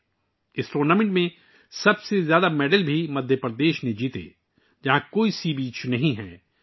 مدھیہ پردیش نے اس ٹورنامنٹ میں سب سے زیادہ تمغے جیتے، جہاں کوئی سمندری ساحل نہیں ہے